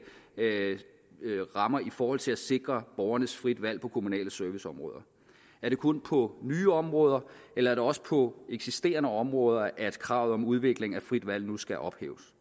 rammer i forhold til at sikre borgernes frie valg på kommunale serviceområder er det kun på nye områder eller er det også på eksisterende områder at kravet om udvikling af frit valg nu skal ophæves